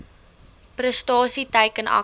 prestasie teiken aksies